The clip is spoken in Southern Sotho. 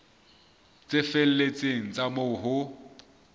tse felletseng tsa moo ho